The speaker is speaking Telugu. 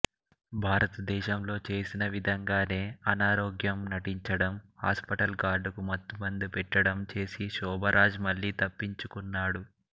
భారతదేశంలో చేసిన విధంగానే అనారోగ్యం నటించడం హాస్పిటల్ గార్డుకు మత్తుమందు పెట్టడం చేసి శోభరాజ్ మళ్ళీ తప్పించుకున్నాడు